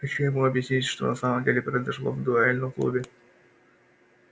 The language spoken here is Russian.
хочу ему объяснить что на самом деле произошло в дуэльном клубе